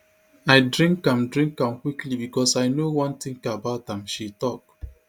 i drink am drink am quickly becos i no want think about am she tok